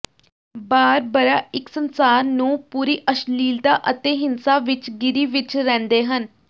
Barbara ਇੱਕ ਸੰਸਾਰ ਨੂੰ ਪੂਰੀ ਅਸ਼ਲੀਲਤਾ ਅਤੇ ਹਿੰਸਾ ਵਿਚ ਘਿਰੀ ਵਿਚ ਰਹਿੰਦੇ ਹਨ